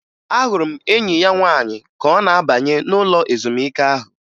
Ahụrụ m enyi ya nwaanyị ka ọ na-abanye ụlọ ezumike ahụ